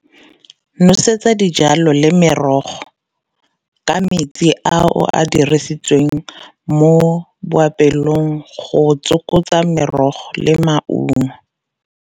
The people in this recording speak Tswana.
Nosetsa dijalo le merogo ka metsi a o a dirisitsweng mo boapelong go tsokotsa merogo le maungo.